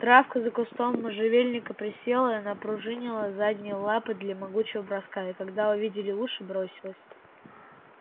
травка за кустом можжевельника присела и напружинила задние лапы для могучего броска и когда увидели уши бросилась